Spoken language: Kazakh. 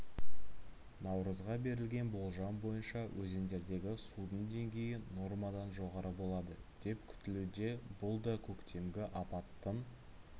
наурызға берілген болжам бойынша өзендердегі судың деңгейі нормадан жоғары болады деп күтілуде бұл да көктемгі апаттың